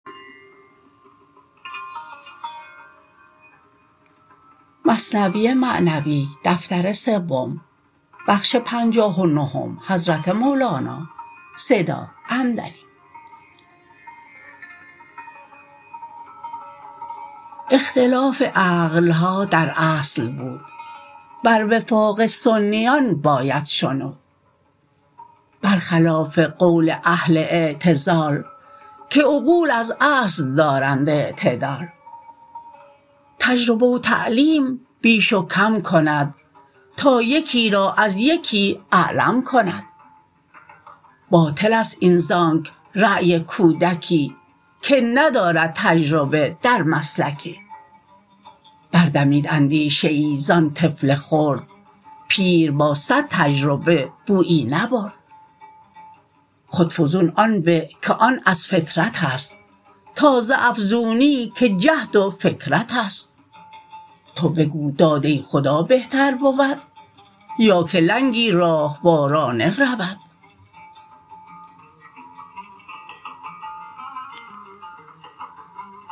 اختلاف عقلها در اصل بود بر وفاق سنیان باید شنود بر خلاف قول اهل اعتزال که عقول از اصل دارند اعتدال تجربه و تعلیم بیش و کم کند تا یکی را از یکی اعلم کند باطلست این زانک رای کودکی که ندارد تجربه در مسلکی بر دمید اندیشه ای زان طفل خرد پیر با صد تجربه بویی نبرد خود فزون آن به که آن از فطرتست تا ز افزونی که جهد و فکرتست تو بگو داده خدا بهتر بود یاکه لنگی راهوارانه رود